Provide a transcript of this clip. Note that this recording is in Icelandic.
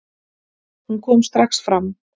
Hún kom strax fram.